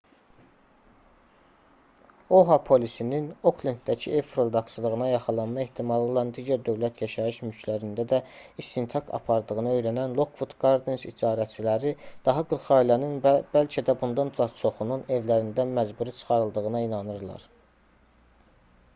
oha polisinin oklenddəki ev fırıldaqçılığına yaxalanma ehtimalı olan digər dövlət yaşayış mülklərində də istintaq apardığını öyrənən lockwood gardens icarəçiləri daha 40 ailənin və bəlkə də bundan da çoxunun evlərindən məcburi çıxarıldığına inanırlar